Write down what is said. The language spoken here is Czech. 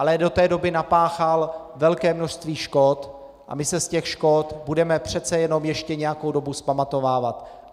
Ale do té doby napáchal velké množství škod a my se z těch škod budeme přece jenom ještě nějakou dobu vzpamatovávat.